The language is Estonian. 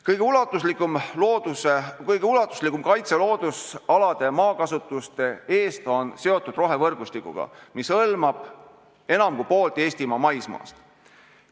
Kõige ulatuslikum loodusalade kaitse maakasutuse eest on seotud rohevõrgustikuga, mis hõlmab enam kui poolt Eestimaa maismaast.